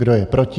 Kdo je proti?